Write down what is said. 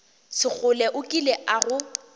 sekgole o kile a go